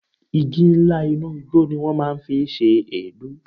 Igi ńlá inú igbó ni wọ́n máa ń fi ń ṣe èédú.